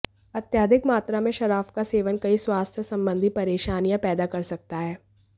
अत्यधिक मात्रा में शराब का सेवन कई स्वास्थ्य संबंधी परेशानियां पैदा कर सकता है